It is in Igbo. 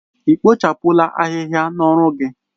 Ị kpochapụla ahịhịa n'ọrụ gị?